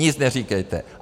Nic neříkejte.